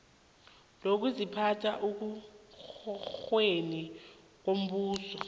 lokuziphatha ekorweni yombuso